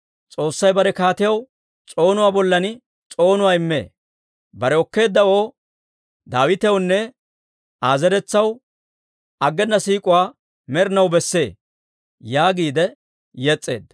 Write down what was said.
«S'oossay bare kaatiyaw s'oonuwaa bollan s'oonuwaa immee. Bare okkeeddawoo, Daawitewunne Aa zeretsaw, aggena siik'uwaa med'inaw besse» yaagiide yes's'eedda.